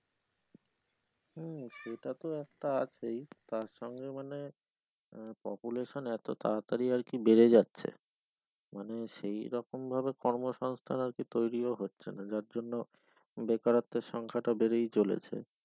হম সেটা তো একটা আছেই তার সঙ্গে মানে আহ population এতো তাড়া তাড়ি আরকি বেড়ে যাচ্ছে মানে সেই রকম ভাবে কর্মসংস্থান আরকি তৈরিও হচ্ছে না যার জন্য বেকারত্বের সংখ্যাটা বেড়েই চলেছে।